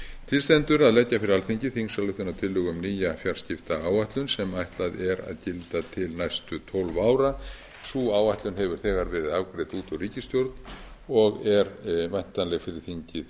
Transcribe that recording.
til stendur að leggja fyrir alþingi þingsályktunartillögu um nýja fjarskiptaáætlun sem ætlað er að gilda til næstu tólf ára sú áætlun hefur þegar verið afgreidd út úr ríkisstjórn og er væntanleg fyrir þingið